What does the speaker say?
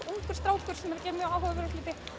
ungur strákur sem er mjög áhugaverður það